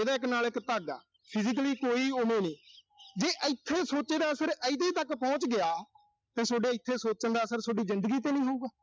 ਇਹਦਾ ਇੱਕ ਨਾਲ ਇੱਕ ਧਾਗਾ। physically ਕੋਈ ਓਵੇਂ ਨੀਂ। ਜੇ ਇਥੋਂ ਸੋਚੇ ਦਾ ਅਸਰ ਇਹਦੇ ਤੱਕ ਪਹੁੰਚ ਗਿਆ, ਤਾਂ ਸੋਡੇ ਇੱਥੇ ਸੋਚਣ ਦਾ ਅਸਰ ਸੋਡੀ ਜ਼ਿੰਦਗੀ ਤੇ ਨੀਂ ਹੋਊਗਾ।